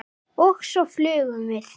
Og svo flugum við.